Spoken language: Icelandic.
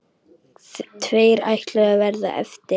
Tveir ætluðu að verða eftir.